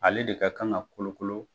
Ale de ka kan ka kolokolo.